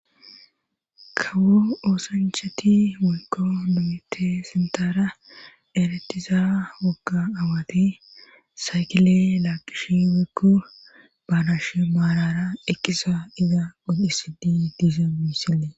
Kawo oosancheti woyko nomete sintara eretiza wogga awati saykile laaqish wekku baanashmaarara eqkisa iza oddisidi diiza mussile.